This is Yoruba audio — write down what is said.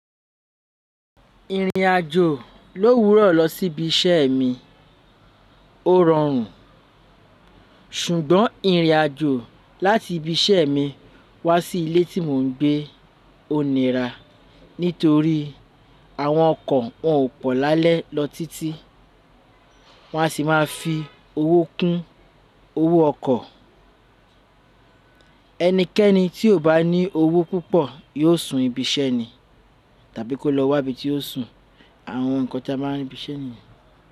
Ìrìnàjò ló wúrọ̀ lọ sí ibi iṣẹ́ mi. Ó rọrùn. Ṣùgbọ́n ìrìnàjò láti ibi iṣẹ́ mi wá sí ilé tí mò ń gbé ò nira nítorí àwọn ọkọ̀ wọn ò pọ̀ lálẹ́ lọ títí. Wọ́n á sì máa fi owó kún owó ọkọ̀. Ẹnikẹ́ni tí ò bá ní owó púpọ̀ yóò sùn ibi iṣẹ́ ni tàbí kó lọ wá ibi tí ó sùn. Àwọn nǹkan tí a máa ń rí ní ibi iṣẹ́ niyen.